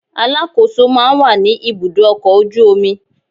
Alákòóso máa ń wà ní ibùdó ọkọ̀ ojú omi